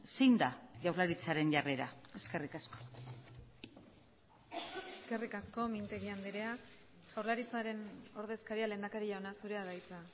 zein da jaurlaritzaren jarrera eskerrik asko eskerrik asko mintegi anderea jaurlaritzaren ordezkaria lehendakari jauna zurea da hitza